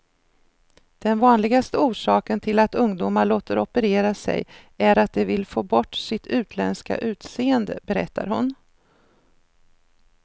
Den vanligaste orsaken till att ungdomar låter operera sig är att de vill få bort sitt utländska utseende, berättar hon.